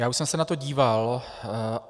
Já už jsem se na to díval.